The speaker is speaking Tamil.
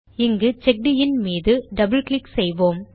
இங்கு செக்கின் மீது டபிள் கிளிக் செய்யலாம்